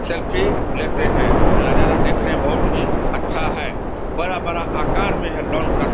selfie लेते है नजारा देखने में बहोत ही अच्छा है बड़ा बड़ा आकार में है लॉन का --